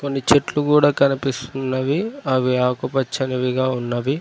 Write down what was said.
కొన్ని చెట్లు కూడా కనిపిస్తున్నవి అవి ఆకుపచ్చనివిగా ఉన్నవి.